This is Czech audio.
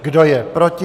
Kdo je proti?